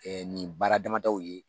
Ɛɛ nin baara damadɔw ye